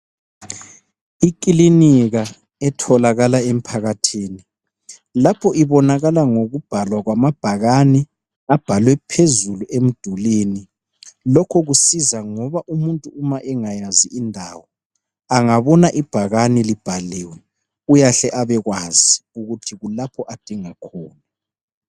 Ekilinika etholakala emphakathini, lapho ibonakala ngokubhalwa kwamabhakani abhalwe phezulu emdulwini. Lokhu kusiza ngoba umuntu uma angabona ibhakane libhaliwe uyahleabekwazi ukuthi kulapha adinga khona.